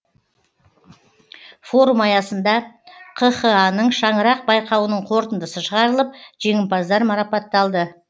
форум аясында қха ның шаңырақ байқауының қорытындысы шығарылып жеңімпаздар марапатталды